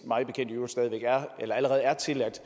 allerede er tilladt